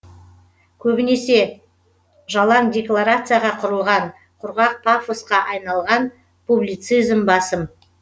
көбінесе жалаң декларацияға құрылған құрғақ пафосқа айналған публицизм басым